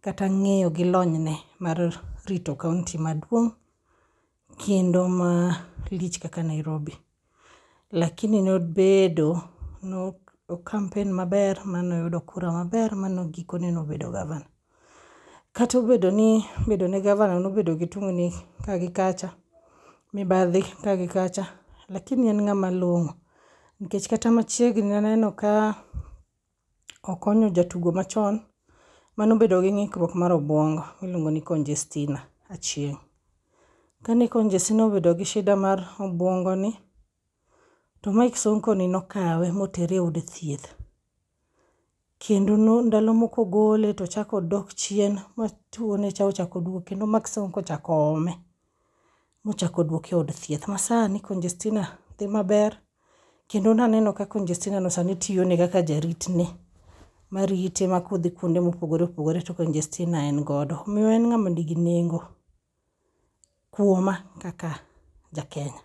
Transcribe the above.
kata ng'eyo gi lony ne mar rito kaonti maduong' kendo ma lich kaka Nairobi. Lakini nobedo no campaign maber manoyudo kura maber ma gikone nobedo gavana. Katobedo ni bedo ne gavana nobedo gi tungni ka gi kacha, mibadhi ka gi kacha, lakini en ng'ama long'o. Nikech kata machiegni naneno ka okonyo jatugo machon manobedo gi ng'ikruok mar obuongo miluongo ni Congestina Achieng'. Ka ne Conjestina obedo gi shida mar obwongoni, to Mike Sonko ni nokawe motere e od thieth. Kendo ndalomoko ogole tochakodok chien ma tuwone cha ochakoduogo kendo Mike Sonko ochakoome, mochakodwoke e od thieth. Ma sani Conjestina dhi maber, kendo naneno ka Conjestinano sani tiyone kaka jaritne marite ma kodhi kuonde mopogore opogore to Conjestina en godo. Omiyo en ng'ama nigi nengo kuoma kaka ja Kenya.